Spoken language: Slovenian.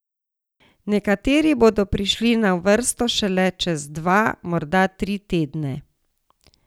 Nekateri bodo prišli na vrsto šele čez dva, morda tri tedne.